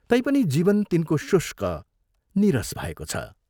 तैपनि जीवन तिनको शुष्क, नीरस भएको छ।